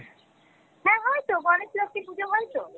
হ্যাঁ হয়তো গণেশ লক্ষী পূঁজো হয়তো।